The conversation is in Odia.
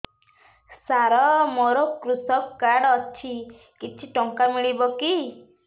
ସାର ମୋର୍ କୃଷକ କାର୍ଡ ଅଛି କିଛି ଟଙ୍କା ମିଳିବ କି